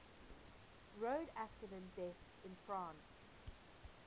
road accident deaths in france